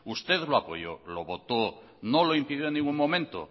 usted lo apoyó lo votó no lo impidió en ningún momento